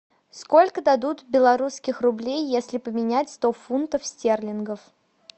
сколько дадут белорусских рублей если поменять сто фунтов стерлингов